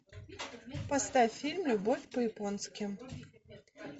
поставь фильм любовь по японски